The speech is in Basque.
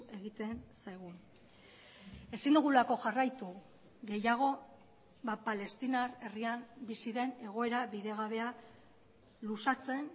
egiten zaigun ezin dugulako jarraitu gehiago palestinar herrian bizi den egoera bidegabea luzatzen